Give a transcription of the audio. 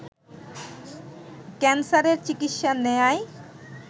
ক্যান্সারের চিকিৎসা নেয়ায়